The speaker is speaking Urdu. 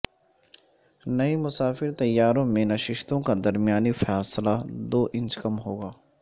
نئے مسافر طیاروں میں نشستوں کا درمیانی فاصلہ دو انچ کم ہوگا